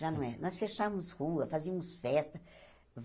Já não é. Nós fechávamos rua, fazíamos festa.